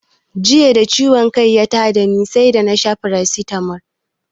Jiya da ciwon kai ya ta da ni sai da na sha farasitamol